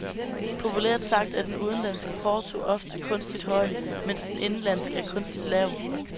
Populært sagt er den udenlandske porto ofte kunstigt høj, mens den indenlandske er kunstigt lav.